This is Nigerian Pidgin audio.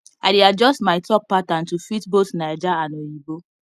i dey adjust my talk pattern to fit both naija and oyinbo